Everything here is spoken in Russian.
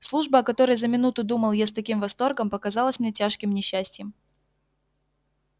служба о которой за минуту думал я с таким восторгом показалась мне тяжким несчастьем